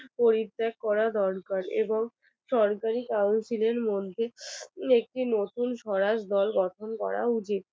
পরিত্যাগ করা দরকার এবং সরকারি councillor মধ্যে একটি নতুন স্বরাজ দল গঠন করা উচিত।